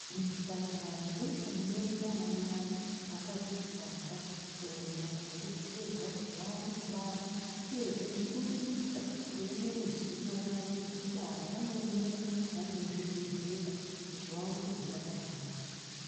Muzvipatara ndimwo munoende anamai akadzitwara kuenda kobetserwa kuti vaone kubara uyezve nekurindira kuemere zuwa rawo rekubara vanoemera vari muzvibhedhlera kuti vaone kuzobara zvakanaka.